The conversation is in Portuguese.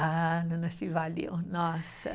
Ah, se valeu, nossa.